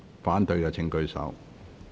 反對的請舉手。